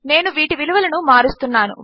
నేనువీటివిలువలనుమారుస్తున్నాను